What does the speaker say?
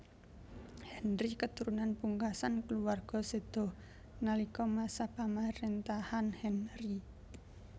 Henry keturunan pungkasan kulawarga séda nalika masa pamaréntahan Henry